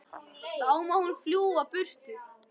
Þá má hún fljúga burtu.